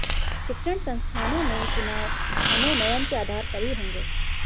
शिक्षण संस्थानों में चुनाव मनोनयन के आधार पर ही होंगे